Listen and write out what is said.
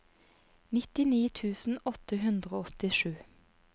nittini tusen åtte hundre og åttisju